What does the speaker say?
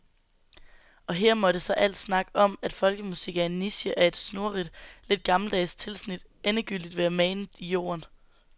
Og her måtte så al snak om, at folkemusik er en niche af et snurrigt, lidt gammeldags tilsnit, endegyldigt være manet i jorden.